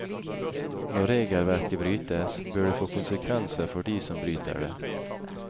Når regelverket brytes, bør det få konsekvenser for de som bryter det.